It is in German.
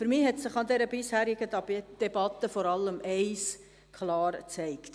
Für mich hat sich in der bisherigen Debatte vor allem eines klar gezeigt: